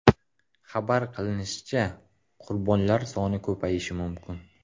Xabar qilinishicha, qurbonlar soni ko‘payishi mumkin.